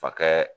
Fa kɛ